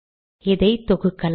இதை தொகுக்கலாம்